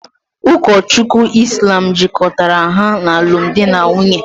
Ụkọchukwu Islam jikọtara ha n’alụmdi na nwunye